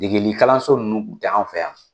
Degegli kalanlanso ninnu kun ti an fɛ yan.